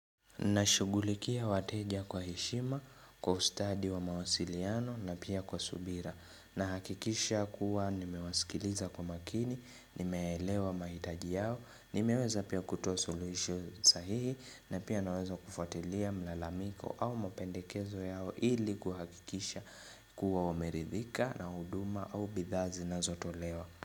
Nashugulikia wateja kwa heshima, kwa ustadi wa mawasiliano na pia kwa subira na hakikisha kuwa nimewaskiliza kwa makini, nimeelewa mahitaji yao, nimeweza pia kutoa solution sahihi na pia naweza kufuatilia mlalamiko au mapendekezo yao ili kuhakikisha kuwa wameridhika na huduma au bidhaa zinazotolewa.